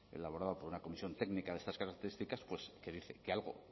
elaborado por una comisión técnica de estas características pues que dice que algo